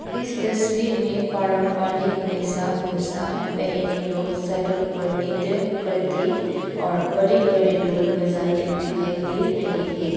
इस तस्वीर में पारंपरिक वैशा भूसा पहने लोग सड़क पर नृत्य करते और बड़े बड़े ढोल बजाते दिखाई दे रहे हैं।